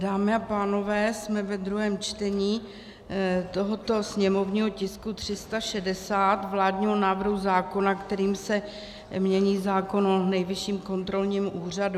Dámy a pánové, jsme ve druhém čtení tohoto sněmovního tisku 360, vládního návrhu zákona, kterým se mění zákon o Nejvyšším kontrolním úřadu.